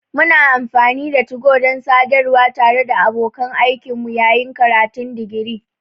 Muna amfani da 2go don sadarwa tare da abokan aikinmu yayin karatun digiri.